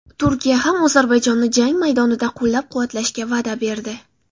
Turkiya ham Ozarbayjonni jang maydonida qo‘llab-quvvatlashga va’da berdi .